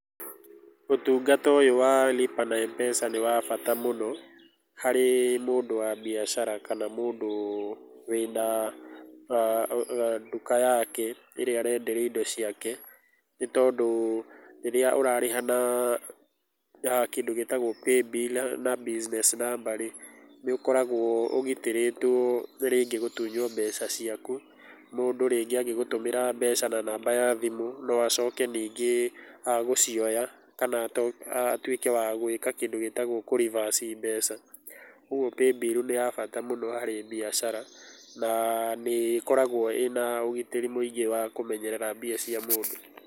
Ũtungata ũyũ wa lipa na M-Pesa nĩwa bata mũno harĩ mũndũ wa biacara kana mũndũ wĩna, ga nduka yake ĩrĩa arenderia indo ciake, nĩtondũ, rĩrĩa ũrarĩha na kĩndũ gĩtagwo paybill na business number nĩũkoragwo ũgitĩrĩtwo rĩngĩ gũtunywo mbeca ciaku mũndũ rĩngĩ agĩgũtũmĩra mbeca na namba ya thimũ, noacoke ningĩ agũcioya kana a atwĩke wagwĩka kĩndũ gĩtagwo kũ reverse mbeca, ũguo paybill nĩya bata mũno harĩ biacara, na nĩ ĩkoragwo ĩna ũgitĩri mũingĩ wa kũmenyerera mbia cia mũndũ.